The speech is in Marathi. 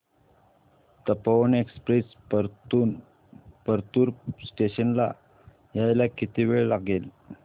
तपोवन एक्सप्रेस परतूर स्टेशन ला यायला किती वेळ लागेल